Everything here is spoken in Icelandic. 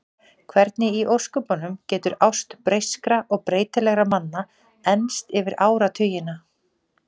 Hvernig í ósköpunum getur ást breyskra og breytilegra manna enst yfir áratugina?